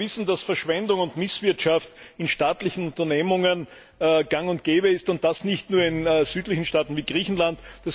Wir alle wissen, dass Verschwendung und Misswirtschaft in staatlichen Unternehmungen gang und gäbe sind, und das nicht nur in südlichen Staaten wie Griechenland.